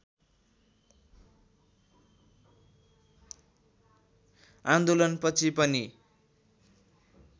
आन्दोलनपछि पनि